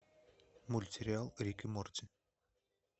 мультсериал рик и морти